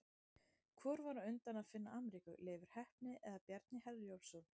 Hvor var á undan að finna Ameríku, Leifur heppni eða Bjarni Herjólfsson?